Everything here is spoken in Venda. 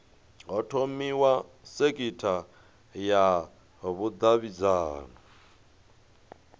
ho thomiwa sekitha ya vhudavhidzano